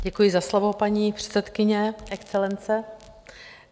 Děkuji za slovo, paní předsedkyně, Excelence.